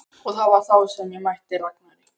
Og það var þá sem ég mætti Ragnari.